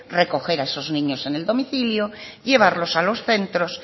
recoger a esos niños en el domicilio llevarlos a los centros